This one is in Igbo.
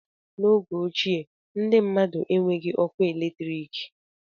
N'oge ochie, ndị mmmadụ enweghị ọkụ eletrik